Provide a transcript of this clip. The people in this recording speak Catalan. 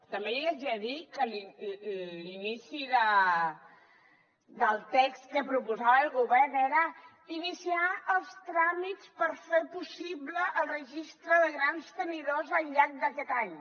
també li haig de dir que l’inici del text que proposava el govern era iniciar els tràmits per fer possible el registre de grans tenidors al llarg d’aquest any